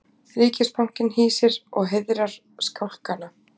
Ríkisbankinn hýsir og heiðrar skálkana